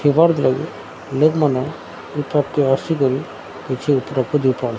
ଲାଗି ଲୋକମାନେ ଏଠାକୁ ଆସିକରି କିଛି ପ୍ରାକୃତିକ --